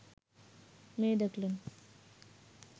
মেয়ে দেখলেন